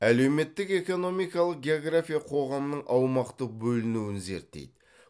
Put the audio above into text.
әлеуметтік экономикалық география қоғамның аумақтық бөлінуін зерттейді